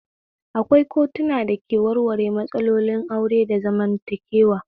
Akwai kotuna da ke warware matsalolin aure da zamantakewa